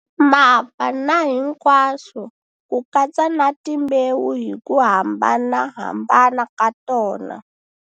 Mapa na hinkwaswo ku katsa ni timbewu hi ku hambanahambana ka tona.